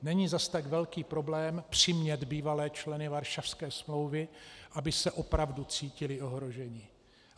Není zas tak velký problém přimět bývalé členy Varšavské smlouvy, aby se opravdu cítili ohroženi.